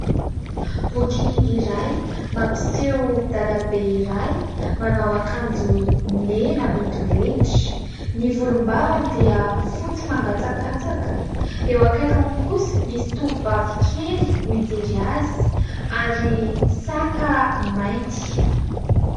Boky iray mampiseho dadabe iray manao akanjo mena midorehitra, ny volombavany dia fotsy mangatsakatsaka, eo akaikiny kosa misy tovovavy kely mijery azy ary saka mainty.